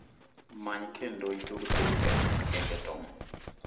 many kendo itug thumbe mag gengetone